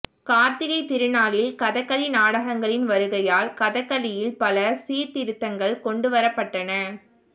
கார்த்திகை திருநாளின் கதகளி நாடகங்களின் வருகையால் கதகளியில் பல சீர்திருத்தங்கள் கொண்டுவரப்பட்டன